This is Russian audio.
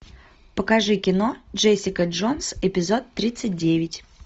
покажи кино джессика джонс эпизод тридцать девять